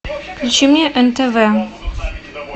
включи мне нтв